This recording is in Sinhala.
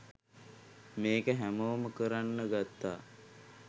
මේක හැමෝම කරන්න ගත්තා